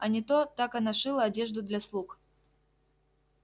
а не то так она шила одежду для слуг